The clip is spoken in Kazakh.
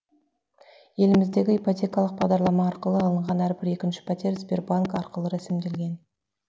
еліміздегі ипотекалық бағдарлама арқылы алынған әрбір екінші пәтер сбербанк арқылы рәсімделген